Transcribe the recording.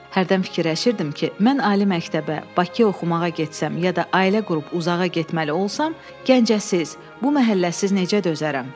Hərdən fikirləşirdim ki, mən ali məktəbə, Bakı oxumağa getsəm ya da ailə qurub uzağa getməli olsam Gəncəsiz, bu məhəlləsiz necə dözərəm.